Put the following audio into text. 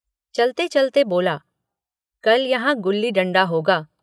चलते चलते बोला कल यहाँ गुल्ली डंडा होगा।